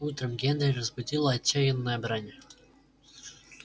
утром генри разбудила отчаянная брань